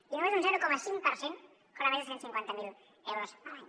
i només un zero coma cinc per cent cobra més de cent i cinquanta miler euros a l’any